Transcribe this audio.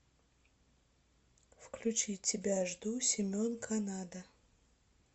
включи тебя жду семен канада